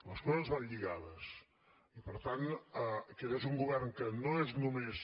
les coses van lligades i per tant aquest és un govern que no és només